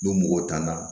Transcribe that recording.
N'o mɔgɔ tanna